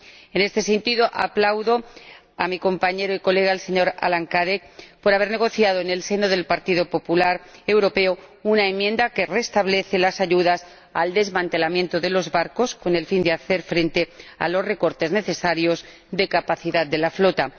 En este sentido, aplaudo a mi compañero y colega, el señor Alain Cadec, por haber negociado, en el seno del Partido Popular Europeo, una enmienda que restablece las ayudas al desmantelamiento de los barcos, con el fin de hacer frente a los recortes necesarios de capacidad de la flota.